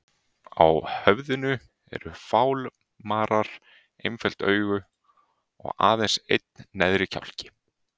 Á höfðinu eru fálmarar, einföld augu og aðeins einn neðri kjálki.